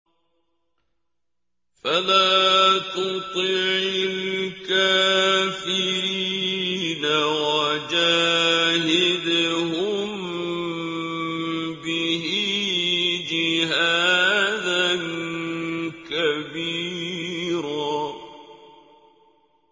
فَلَا تُطِعِ الْكَافِرِينَ وَجَاهِدْهُم بِهِ جِهَادًا كَبِيرًا